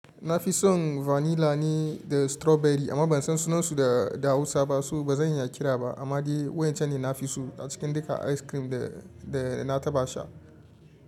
Na fi son vanilla ne da strawberry amma ban san sunansu da Hausa ba so ba zan iya kira ba amma dai wancan ne na fi so a cikin duka ice cream da, da na taɓa sha.